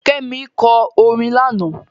Kẹ́mi lọ orin lánàá.